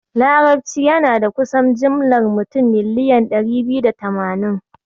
Larabci yana da kusan jimlar mutum miliyan ɗari biyu da tamanin.